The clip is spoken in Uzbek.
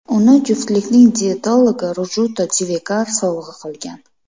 Uni juftlikning diyetologi Rujuta Divekar sovg‘a qilgan.